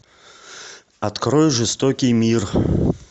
открой жестокий мир